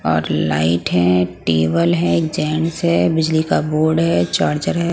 और लाइट है टेबल है गैंस है बिजली का बोर्ड है चार्जर है ।